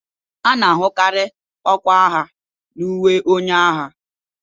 A na-ahụkarị ọkwa agha n'uwe onye agha